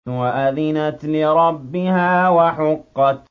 وَأَذِنَتْ لِرَبِّهَا وَحُقَّتْ